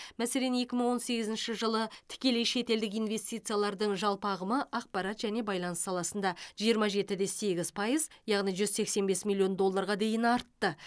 мәселен екі мың он сегізінші жылы тікелей шетелдік инвестициялардың жалпы ағымы ақпарат және байланыс саласында жиырма жеті де сегіз пайыз яғни жүз сексен бес миллион долларға дейін артты